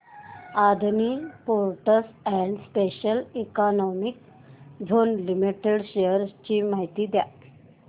Adani ports and special economic zone limited shares ची माहिती द्या